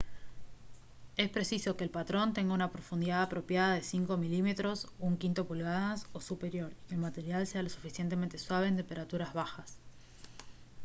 es preciso que el patrón tenga una profundidad apropiada de 5 mm 1/5 pulgadas o superior y que el material sea lo suficientemente suave en temperaturas bajas